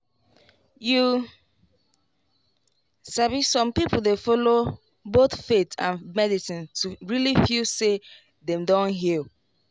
you sabi some people dey follow both faith and medicine to really feel say dem don heal.